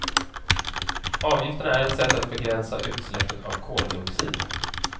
Avgifterna är ett sätt att begränsa utsläppet av koldioxid.